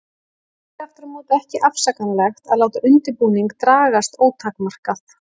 Hitt er aftur á móti ekki afsakanlegt að láta undirbúning dragast ótakmarkað.